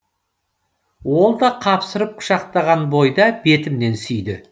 ол да қапсырып құшақтаған бойда бетімнен сүйді